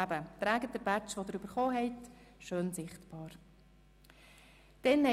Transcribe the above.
Also, tragen Sie bitte den Badge, den Sie erhalten haben, gut sichtbar auf sich.